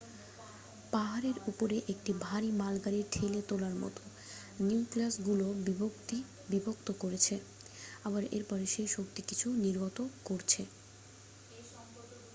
পাহাড়ের উপরে একটি ভারী মালগাড়ি ঠেলে তোলার মত নিউক্লিয়াসগুলো বিভক্ত করছে আবার এরপরে সেই শক্তি কিছু নির্গত করছে